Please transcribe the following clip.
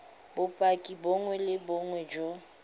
bopaki bongwe le bongwe jo